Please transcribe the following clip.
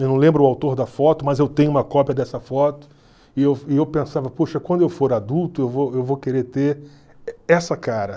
Eu não lembro o autor da foto, mas eu tenho uma cópia dessa foto e eu e eu pensava, poxa, quando eu for adulto eu vou eu vou querer ter essa cara.